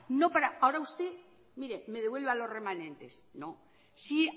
no para ahora usted mire me devuelva los remanentes no si